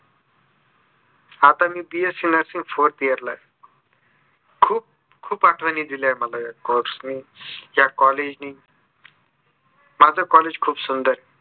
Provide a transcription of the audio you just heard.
आता मी B. Sc Nursing fourth year ला आहे. खूप खूप आठवणी दिल्या मला ह्या course ने ह्या collage नी. माझं collage खूप सुंदर